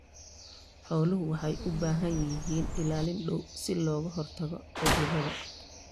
Xooluhu waxay u baahan yihiin ilaalin dhow si looga hortago cudurrada.